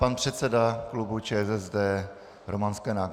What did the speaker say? Pan předseda klubu ČSSD Roman Sklenák.